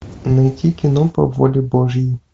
найти кино по воле божьей